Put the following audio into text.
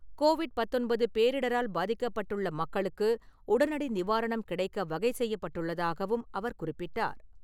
Covid பத்தொன்பது பேரிடரால் பாதிக்கப்பட்டுள்ள மக்களுக்கு உடனடி நிவாரணம் கிடைக்க வகை செய்யப்பட்டுள்ளதாகவும் அவர் குறிப்பிட்டார்.